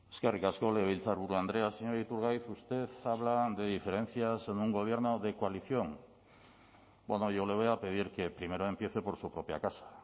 eskerrik asko legebiltzarburu andrea señor iturgaiz usted habla de diferencias en un gobierno de coalición bueno yo le voy a pedir que primero empiece por su propia casa